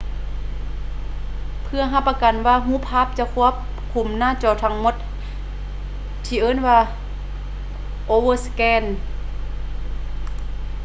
ເພື່ອຮັບປະກັນວ່າຮູບພາບຈະຄວບຄຸມໜ້າຈໍທັງໝົດ ທີ່ເອີ້ນວ່າ overscan